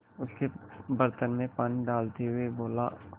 उसके बर्तन में पानी डालते हुए बोला